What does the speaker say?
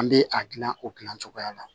An bɛ a gilan o gilan cogoya la